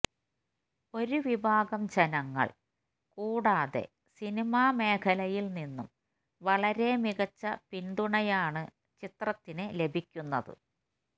ഒരു വിഭാഗം ജനങ്ങൾ കൂടാതെ സിനിമ മേഖലയിൽ നിന്നും വളരെ മികച്ച പിന്തുണയാണ് ചിത്രത്തിന് ലഭിക്കുന്നത്